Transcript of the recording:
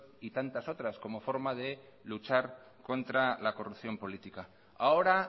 y tanta otras como forma de luchar contra la corrupción política ahora